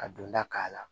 Ka don da k'a la